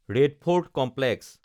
red Fort complex